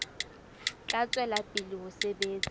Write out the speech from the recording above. tla tswela pele ho sebetsa